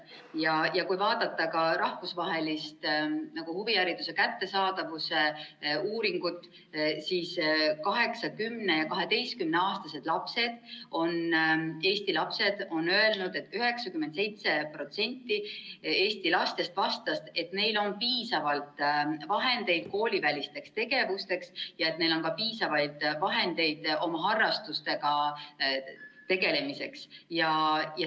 Kui vaadata ka rahvusvahelist huvihariduse kättesaadavuse uuringut, siis 8-, 10- ja 12-aastased Eesti lapsed on öelnud, 97% Eesti lastest vastas, et neil on piisavalt vahendeid koolivälisteks tegevusteks ja neil on ka piisavaid vahendeid oma harrastustega tegelemiseks.